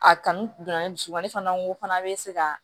A kanu donna ne dusukun ne fana n ko fana be se ka